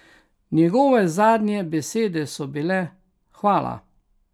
Njegove zadnje besede so bile: 'Hvala'.